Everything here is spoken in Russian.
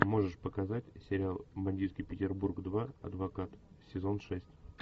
можешь показать сериал бандитский петербург два адвокат сезон шесть